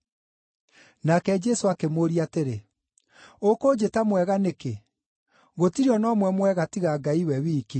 Nake Jesũ akĩmũũria atĩrĩ, “Ũkũnjĩta mwega nĩkĩ? Gũtirĩ o na ũmwe mwega tiga Ngai we wiki.